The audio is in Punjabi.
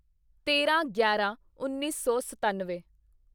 ਤੇਰਾਂਗਿਆਰਾਂਉੱਨੀ ਸੌ ਸਤਾਨਵੇਂ